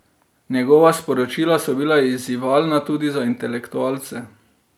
Njegova sporočila so bila izzivalna tudi za intelektualce.